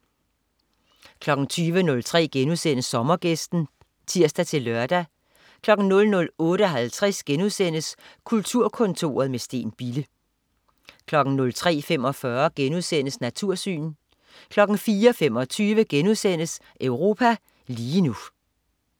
20.03 Sommergæsten* (tirs-lør) 00.58 Kulturkontoret med Steen Bille* 03.45 Natursyn* 04.25 Europa lige nu*